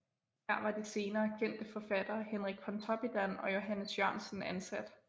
Her var de senere kendte forfattere Henrik Pontoppidan og Johannes Jørgensen ansat